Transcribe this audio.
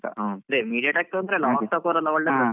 ಅದೇ mediatek ಅಂದ್ರೆ ಒಳ್ಳೆ ಬರ್ತದೆ.